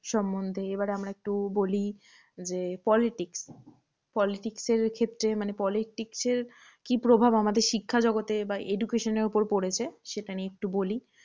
সন্বন্ধে এবার আমরা একটু বলি যে, politics politics এর ক্ষেত্রে মানে politics এর কী প্রভাব আমাদের শিক্ষা জগতে বা education এর উপর পড়েছে, সেটা নিয়ে একটু বলি।